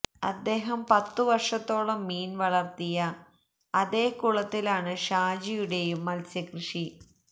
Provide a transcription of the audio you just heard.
അദ്ദേഹം പത്തു വർഷത്തോളം മീൻ വളർത്തിയ അതേ കുളത്തിലാണ് ഷാജിയുടെയും മത്സ്യക്കൃഷി